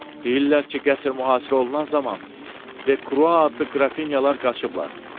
Deyirlər ki, qəsr mühasirə olunan zaman De Krua adlı qrafinyalar qaçıblar.